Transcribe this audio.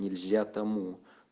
нельзя тому